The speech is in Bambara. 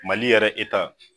Mali yɛrɛ eta